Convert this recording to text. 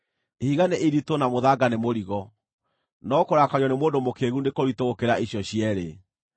Ihiga nĩ iritũ na mũthanga nĩ mũrigo, no kũrakario nĩ mũndũ mũkĩĩgu nĩ kũritũ gũkĩra icio cierĩ.